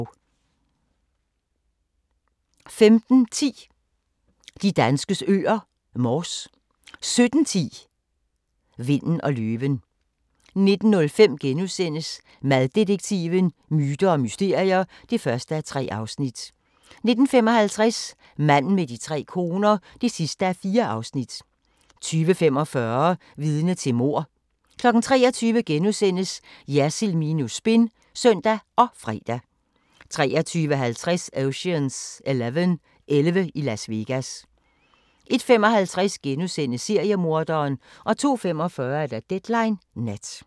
15:10: De danskes øer: Mors 17:10: Vinden og løven 19:05: Maddetektiven: Myter og mysterier (1:3)* 19:55: Manden med de tre koner (4:4) 20:45: Vidne til mord 23:00: Jersild minus spin *(søn og fre) 23:50: Ocean's 11 – Elleve i Las Vegas 01:55: Seriemorderen * 02:45: Deadline Nat